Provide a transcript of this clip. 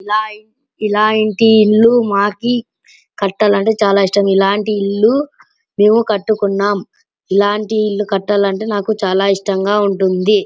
ఇలా ఇలాంటి ఇల్లు మాకు కట్టాలంటే చానా ఇష్టం. ఇలాంటి ఇల్లు మేము కట్టుకున్నాం. ఇలాంటి ఇల్లు కట్టాలా అంటే చాలా ఇష్టంగా ఉంటుంది.